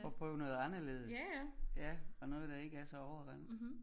Og prøve noget anderledes og noget der ikke er så overrendt